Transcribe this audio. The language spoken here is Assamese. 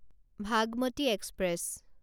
ভাগমতী এক্সপ্ৰেছ